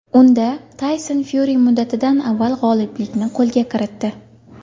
Unda Tayson Fyuri muddatidan avval g‘oliblikni qo‘lga kiritdi.